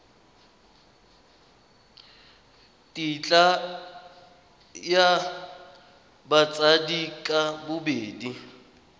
tetla ya batsadi ka bobedi